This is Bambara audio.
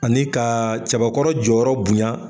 Ani ka cɛbakɔrɔ jɔyɔrɔ bonya